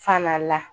Fana la